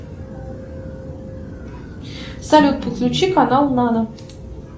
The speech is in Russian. салют подключи канал нано